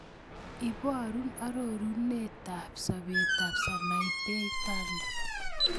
Iborun arorunetap sobetap Sanaipei Tande